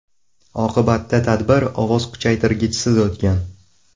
Oqibatda tadbir ovoz kuchaytirgichsiz o‘tgan.